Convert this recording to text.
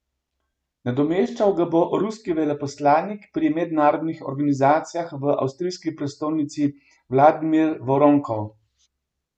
Nadomeščal ga bo ruski veleposlanik pri mednarodnih organizacijah v avstrijski prestolnici Vladimir Voronkov.